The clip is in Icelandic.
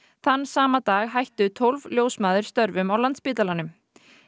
þann sama dag hættu tólf ljósmæður störfum á Landspítalanum